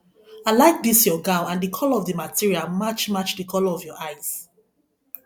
i like dis your gown and the colour of the material match match the colour of your eyes